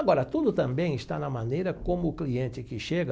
Agora, tudo também está na maneira como o cliente que chega